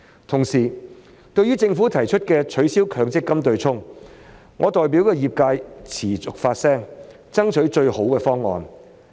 同時，對於政府提出的取消強積金對沖機制，我代表業界持續發聲，爭取最好的方案。